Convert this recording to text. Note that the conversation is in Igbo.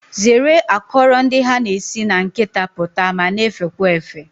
Zeere akọrọ ndị ha na-esi na nkịta pụta ma na-efekwa efe